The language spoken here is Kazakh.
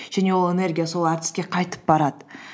және ол энергия сол әртіске қайтып барады